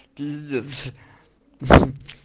пиздец хах